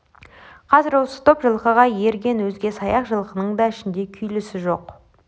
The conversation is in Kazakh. қазір осы топ жылқыға ерген өзге саяқ жылқының да ішінде күйлісі жоқ